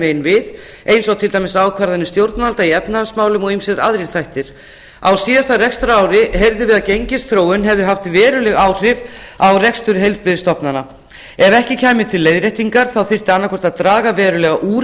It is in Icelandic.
veginn við eins og til dæmis ákvarðanir stjórnvalda í efnahagsmálum og ýmsir aðrir þættir á síðasta rekstrarári heyrðum við að gengisþróun hefði haft veruleg áhrif á rekstur heilbrigðisstofnana ef ekki kæmi til leiðréttingar þyrfti annaðhvort að draga verulega úr